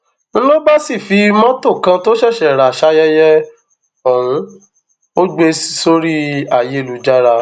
n ló bá sì fi mọtò kan tó ṣẹṣẹ rà sáyẹyẹ ọhún ò gbé e sórí ayélujára